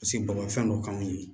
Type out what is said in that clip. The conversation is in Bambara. Paseke bɔgɔfɛn dɔ k'anw ye